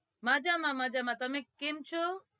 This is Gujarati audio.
મજામાં મજામાં તમે કેમ છો?